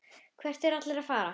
Hvert eru allir að fara?